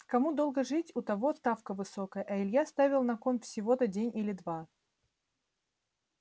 кому долго жить у того ставка высокая а илья ставил на кон всего-то день или два